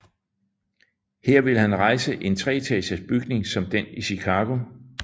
Her ville han rejse en treetages bygning som den i Chicago